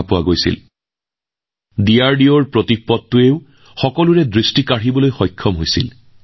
ডিআৰডিঅই উলিওৱা প্ৰতীকপটেও সকলোৰে দৃষ্টি আকৰ্ষণ কৰিছিল